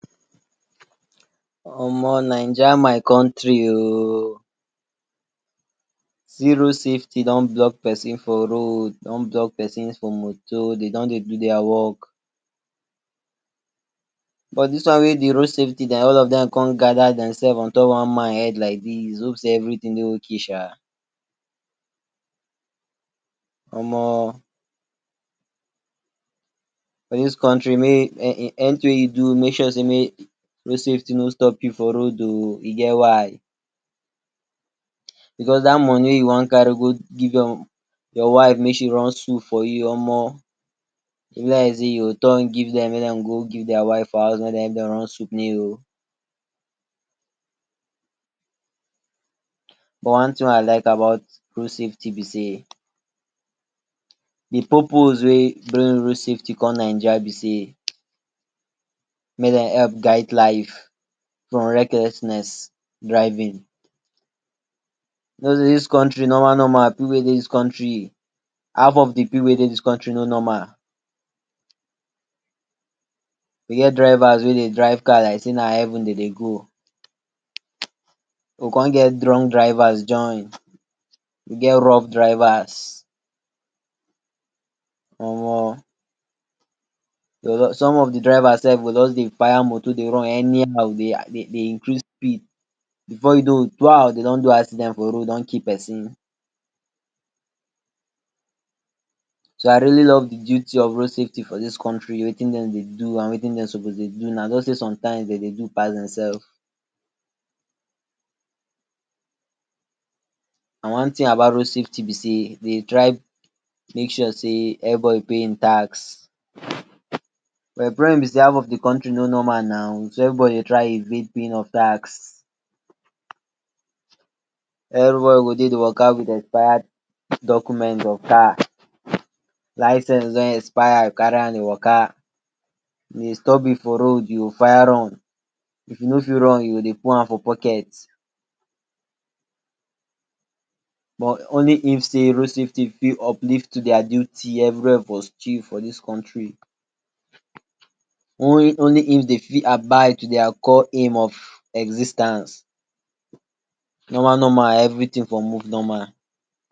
Omo Naija my country o, see road safety don block pesin for road, don block pesin for moto dem don dey do dia work but dis one wey di road safty dem all of dem come gather dem self on top one man head like dis hope sey everytin dey okay um. Omo for dis country wey anytin wey you do make sure sey road safety no stop you for road o, e get why because dat money wey you wan carry go give your your wife make she run soup for you omo e be like sey you go turn give make dem go give dia wife for house make dem run soup ni o. but one tin wey I like about road safety be sey di purpose wey bring road safety come Naija be sey make dem help guide life from recklessness driving. You know dis country normal normal pipu wey dey dis country, half of di pipu wey dey dis country no normal, we get drivers wey dey drive car like sey na heaven dem dey go, we come get drunk drivers join, we get rough drivers omo. Some of di drivers self go just dey fire motor dey run anyhow dey dey increase speed before you know bwa dey don do accident for road don kill pesin. So I really love di duty of road safety for dis country, watin dem dey do and watin dem suppose dey do, na just sey sometimes dem dey do pass dem self. And one tin about road safety be sey dey try make sure sey everybody pay him tax but di problem be sey half of di country no normal now, so everybody dey try evade paying of tax. Everybody go de dey waka wit expired document of car, license don expire you carry am dey waka, if dey stop you for road you go fire run, if you no fit run you go dey put hand for pocket but only if sey road safety fit uplift to dia duty everywia for stew for dis country. Only only if dey fit abide to dia core aim of exis ten ce normal normal everytin for move normal.